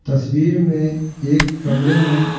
तस्वीर में एक कमरे में--